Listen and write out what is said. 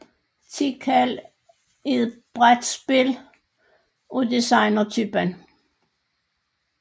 Tikal er et brætspil af designertypen